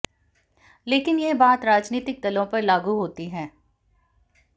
लेकिन यह बात राजनीतिक दलों पर लागू होती है